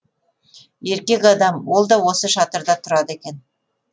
еркек адам ол да осы шатырда тұрады екен